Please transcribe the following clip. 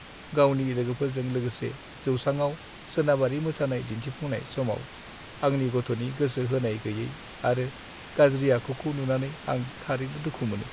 गावनि लोगोफोरजों लोगोसे जौसाङाव सोनाबारि मोसानाय दिन्थिफुंनाय समाव आंनि गथ'नि गोसो होनाय गैयै आरो गाज्रि आखुखौ नुनानै आं थारैनो दुखु मोनो।